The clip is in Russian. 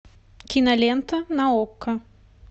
кинолента на окко